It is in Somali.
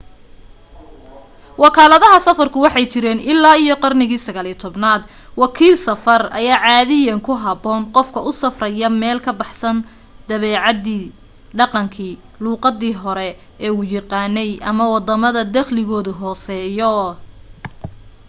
wakalaadaha safarku waxay jireen illaa iyo qarnigii 19aad wakiil safar ayaa caadiyan ku habboon qofka u safraya meel ka baxsan dabeecadii dhaqankii luuqadii hore u yaqaanay ama waddamada dakhligodu hooseeyo